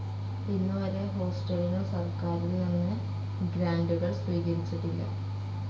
ഇന്നുവരെ, ഹോസ്റ്റലിനു സർക്കാരിൽനിന്നു ഗ്രാൻഡുകൾ സ്വീകരിച്ചിട്ടില്ല.